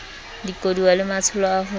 dikoduwa le matsholo a ho